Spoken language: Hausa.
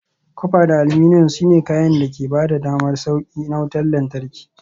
Copper da aluminum, su ne kayan da ke ba da damar sauƙi na wutar lantarki.